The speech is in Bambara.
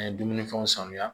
An ye dumuni fɛnw sanuya